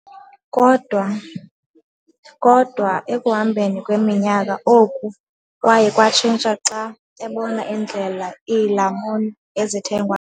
Kodwa ekuhambeni kweminyaka, oku kwaye kwatshintsha xa ebona indlela iilamuni ezithengwa.